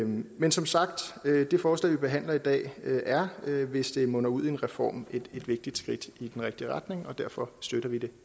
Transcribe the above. men som sagt det forslag vi behandler i dag er hvis det munder ud i en reform et vigtigt skridt i den rigtige retning og derfor støtter vi det